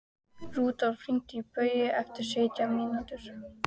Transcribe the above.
Rúdólf, hringdu í Bogeyju eftir sautján mínútur.